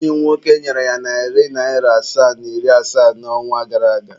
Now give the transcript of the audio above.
Enyi m nwoke nyere ya narị naịra asaa na iri asatọ n'ọnwa gara aga.